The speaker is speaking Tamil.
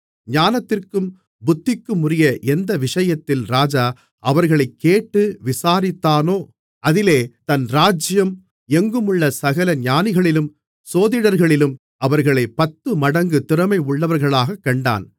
ஞானத்திற்கும் புத்திக்குமுரிய எந்த விஷயத்தில் ராஜா அவர்களைக் கேட்டு விசாரித்தானோ அதிலே தன் ராஜ்ஜியம் எங்குமுள்ள சகல ஞானிகளிலும் சோதிடர்களிலும் அவர்களைப் பத்துமடங்கு திறமையுள்ளவர்களாகக் கண்டான்